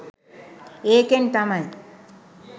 ඒකෙන් තමයි